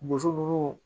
Boso ninnu